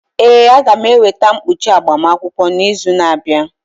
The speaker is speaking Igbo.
Ee, a ga m eweta mkpuchi agbamakwụkwọ n'izu na-abịa.